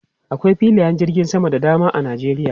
Akwai filayen jirgin sama da dama a Nijeriya.